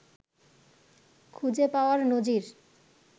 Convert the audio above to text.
খুঁজে পাওয়ার নজির